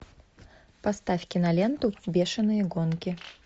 поставь киноленту бешеные гонки